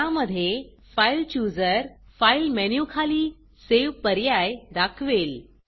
ज्यामधे filechooserफाइल chooser file मेनूखाली सेव्ह पर्याय दाखवेल